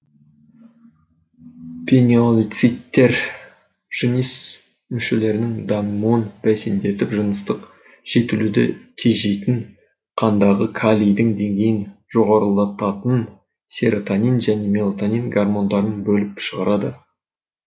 пинеалоциттер жыныс мүшелерінің дамуын бәсендетіп жыныстық жетілуді тежейтін қандағы калийдің деңгейін жоғарылататын серотонин және мелатонин гормондарын бөліп шығарады